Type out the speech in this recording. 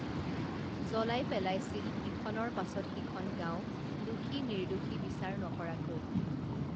জ্বলাই পেলাইছিল ইখনৰ পাছত সিখন গাঁও দোষী নিৰ্দোষী বিচাৰ নকৰাকৈ